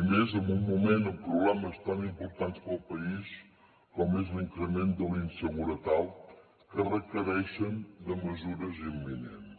i més en un moment amb problemes tan importants per al país com és l’increment de la inseguretat que requereixen mesures imminents